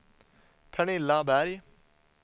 Pernilla Berg